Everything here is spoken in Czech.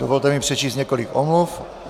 Dovolte mi přečíst několik omluv.